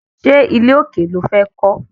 Ṣé ilé òkè lo fẹ́ kọ́?